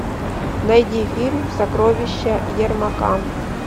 найди фильм сокровища ермака